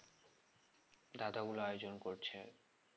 দাদা গুলো আয়োজন করছে